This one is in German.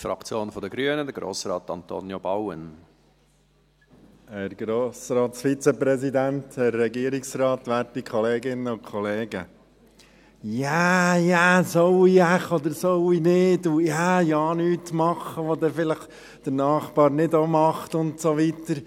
Soll ich wohl, oder soll ich nicht, oder ja nichts machen, was der Nachbar vielleicht auch nicht macht und so weiter.